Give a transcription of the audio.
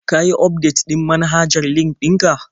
Ka yi ufdetin manhajar LinkedIn ɗin ka?